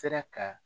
Sera ka